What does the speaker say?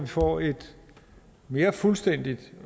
få et mere fuldstændigt